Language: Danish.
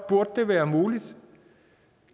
burde det være muligt